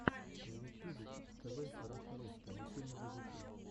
в ютьюбе кидс тв раша русский мультфильмы для детей